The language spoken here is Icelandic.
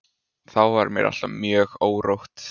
Þá var mér alltaf mjög órótt.